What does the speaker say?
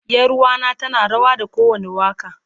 Yaruwa na tana rawa da kowanda waka.